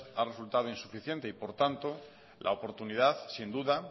ha resultado insuficiente y por tanto la oportunidad sin duda